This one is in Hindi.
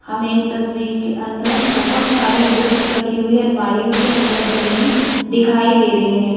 हमें इस तस्वीर के अंदर बहुत सारी बुक्स रखी हुई अलमारियों के अंदर जमी दिखाई दे रही हैं।